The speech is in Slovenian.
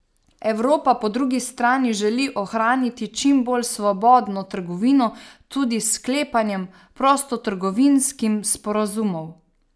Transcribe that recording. Evropa po drugi strani želi ohraniti čim bolj svobodno trgovino, tudi s sklepanjem prostotrgovinskim sporazumov.